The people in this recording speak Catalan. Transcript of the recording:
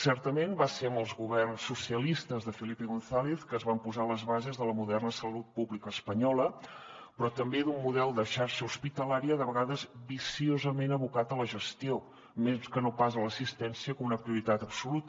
certament va ser amb els governs socialistes de felipe gonzález que es van posar les bases de la moderna salut pública espanyola però també d’un model de xarxa hospitalària de vegades viciosament abocat a la gestió més que no pas a l’assistència com una prioritat absoluta